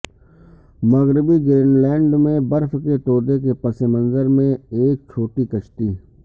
مغربی Greenland میں برف کے تودے کے پس منظر میں ایک چھوٹی کشتی